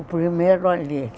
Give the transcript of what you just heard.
O primeiro ali.